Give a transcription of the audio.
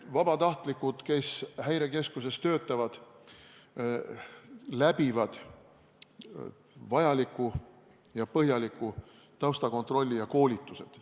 Vabatahtlikud, kes Häirekeskuses töötavad, läbivad põhjaliku taustakontrolli ja koolitused.